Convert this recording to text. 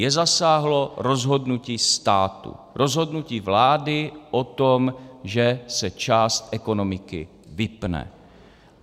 Je zasáhlo rozhodnutí státu, rozhodnutí vlády o tom, že se část ekonomiky vypne.